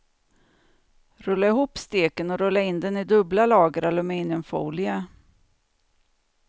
Rulla ihop steken och rulla in den i dubbla lager aluminiumfolie.